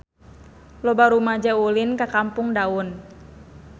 Loba rumaja ulin ka Kampung Daun